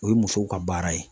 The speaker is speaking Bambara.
O ye musow ka baara ye